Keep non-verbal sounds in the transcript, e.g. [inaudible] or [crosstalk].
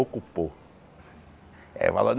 Ocupou. É [unintelligible]